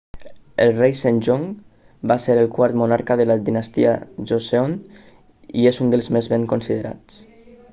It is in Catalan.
el rei sejong va ser el quart monarca de la dinastia joseon i és un dels més ben considerats